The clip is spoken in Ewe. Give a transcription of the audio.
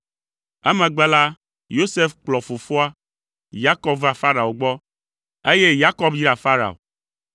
Emegbe la, Yosef kplɔ fofoa, Yakob va Farao gbɔ, eye Yakob yra Farao.